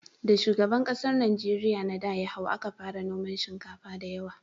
Da shugaban ƙasar Najeriya na da ya hau, a ka fara noman shinkafa da yawa